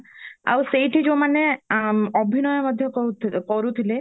ଆଉ ସେଇଠି ଯୋଉମାନେ ଅଭନୟ ମଧ୍ୟ କରୁଥିଲେ